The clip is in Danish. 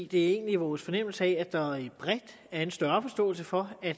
det er egentlig vores fornemmelse at der bredt er en større forståelse for at